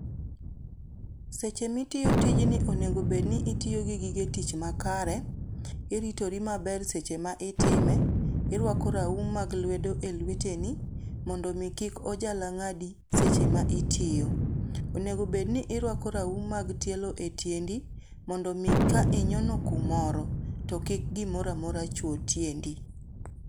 Seche mitiyo tijni onego bed ni itiyo gi gige tich makare, iritori maber seche ma itime, iruako raum mag lwedo e lweteni ni mondo mi kik ojala ngadi seche ma itiyo. Onego bedni iruako raum mag tielo e tiendi mondo mi ka inyono kumoro, to kik gimoro amora chuo tiendi.